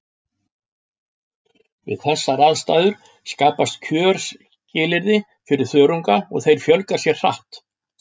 Við þessar aðstæður skapast kjörskilyrði fyrir þörunga og þeir fjölga sér hratt.